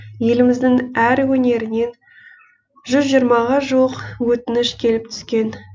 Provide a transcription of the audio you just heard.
еліміздің әр өнерінен ға жуық өтініш келіп түскен